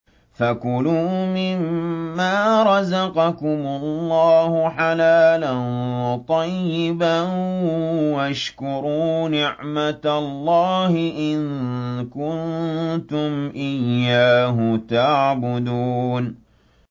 فَكُلُوا مِمَّا رَزَقَكُمُ اللَّهُ حَلَالًا طَيِّبًا وَاشْكُرُوا نِعْمَتَ اللَّهِ إِن كُنتُمْ إِيَّاهُ تَعْبُدُونَ